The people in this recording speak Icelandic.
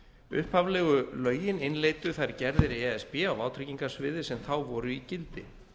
upphaflegu lögin innleiddu þær gerðir e s b á vátryggingasviði sem þá voru í gildi